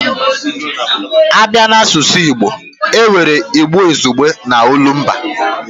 A bịa n'asụsụ Igbo, e nwere Igbo izugbe na olumba